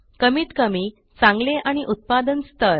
कमीतकमी चांगले आणि उत्पादन स्थर